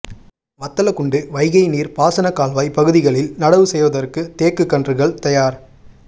வத்தலக்குண்டு வைகை நீர் பாசன கால்வாய் பகுதிகளில் நடவு செய்வதற்கு தேக்கு கன்றுகள் தயார்